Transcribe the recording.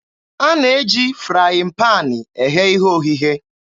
A na-eji frayịn paanị eghe ihe oghighe.